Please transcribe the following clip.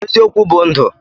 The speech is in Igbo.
Eziokwu bu ndụ